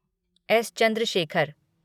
S. Chandrashekhar